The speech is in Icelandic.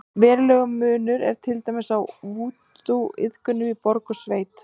Verulegur munur er til dæmis á vúdúiðkun í borg og í sveit.